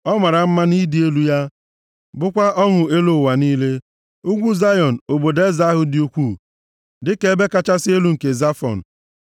Ọ mara mma nʼịdị elu ya, bụkwa ọṅụ elu ụwa niile. Ugwu Zayọn, obodo eze ahụ dị ukwuu, dịka ebe kachasị elu nke Zafọn.